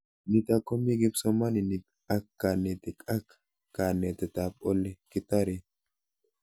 Nitok ko mii kipsomanik ak kanetik ak kanetet ab ole kitare